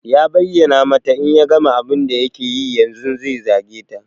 Ya bayyana mata in ya gama abun da yake yi yanzun zai zage ta.